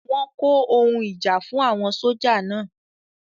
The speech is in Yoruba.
Wọ́n kó àwọn ohun ìjà fún àwọn sójà náà